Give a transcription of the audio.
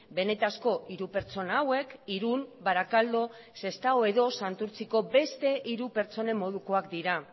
benetako hiru pertsona hauek irun barakaldo sestao edo santurtziko beste hiru pertsonen modukoak dira